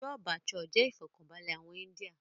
Chole Bhature jẹ́ ifọkanbalẹ àwọn íńdía